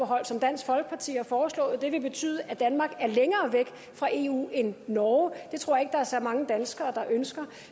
som dansk folkeparti har foreslået det vil betyde at danmark er længere væk fra eu end norge er det tror jeg der er så mange danskere der ønsker